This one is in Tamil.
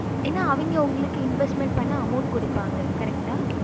ஏன அவங்க உங்களுக்கு investment பண்ண amount குடுப்பாங்க correct ஆஹ்